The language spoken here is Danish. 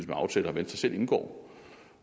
med aftaler venstre selv indgår